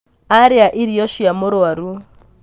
arĩa irio cia mũrwaru